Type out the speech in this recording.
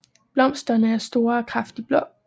Blomsterne er store og kraftigt blå